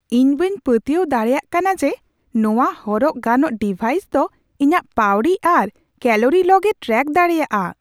ᱤᱧ ᱵᱟᱹᱧ ᱯᱟᱹᱛᱭᱟᱹᱣ ᱫᱟᱲᱮᱭᱟᱜ ᱠᱟᱱᱟ ᱡᱮ ᱱᱚᱶᱟ ᱦᱚᱨᱚᱜ ᱜᱟᱱᱚᱜ ᱰᱤᱵᱷᱟᱭᱤᱥ ᱫᱚ ᱤᱧᱟᱹᱜ ᱯᱟᱹᱣᱲᱤ ᱟᱨ ᱠᱮᱹᱞᱳᱨᱤ ᱞᱚᱜᱼᱮ ᱴᱨᱮᱠ ᱫᱟᱲᱮᱭᱟᱜᱼᱟ ᱾